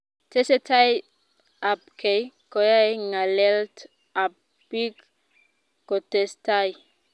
Tesetai ab kei koyae ngalelt ab piik kotestai